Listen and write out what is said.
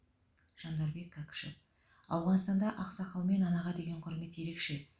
жандарбек кәкішев ауғанстанда ақсақал мен анаға деген құрмет ерекше